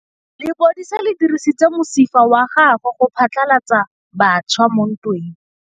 Lepodisa le dirisitse mosifa wa gagwe go phatlalatsa batšha mo ntweng.